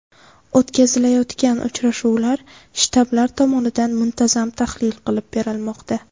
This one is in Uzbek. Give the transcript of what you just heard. O‘tkazilayotgan uchrashuvlar shtablar tomonidan muntazam tahlil qilib borilmoqda.